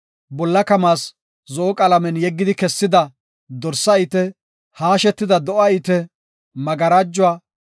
Bolla kamaas, zo7o qalamen yeggidi kessida dorsa ite, haashetida do7a ite, magarajuwa,